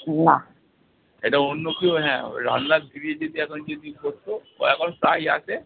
এটা অন্য কেউ, হ্যাঁ রান্নার দিদি যদি এখন যদি করতো ও এখন প্রায় আসে